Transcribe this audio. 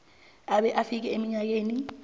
abe afike eminyakeni